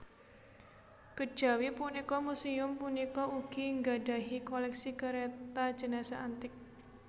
Kejawi punika muséum punika ugi nggadhahi koléksi kereta jenazah antik